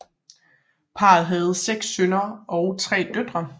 Parret havde 6 sønner og 3 døtre